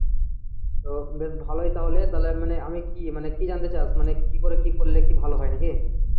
তো বেশ ভালোই তাহলে তাহলে মানে আমি কি আমি মানে কি জানতে চাস মানে কি করে কি করলে কি ভালো হয় নাকি?